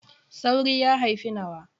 Sauri ya haifi nawa.